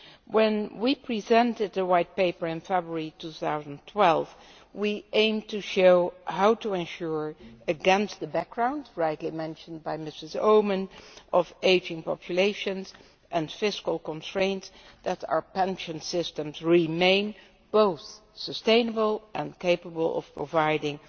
When we presented the White Paper in February 2012 we aimed to show how to ensure, against the background rightly mentioned by Mrs Oomen Ruijten of ageing populations and fiscal constraints, that our pension systems remain both sustainable and capable of providing